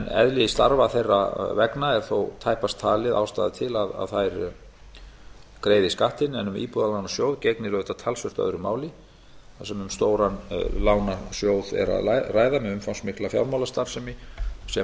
eðli starfa þeirra vegna er þó tæpast talin ástæða til að þær greiði skattinn en um íbúðalánasjóð gegnir auðvitað talsvert öðru máli þar sem um stóran lánasjóð er að ræða með umfangsmikla fjármálastarfsemi sem auðvitað